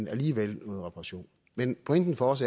er alligevel en reparation pointen for os